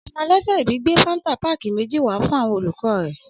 Ọmọ ọlọjọ ìbí gbe fàńtà pàkí méjì wà fún àwon òlúkọ rẹ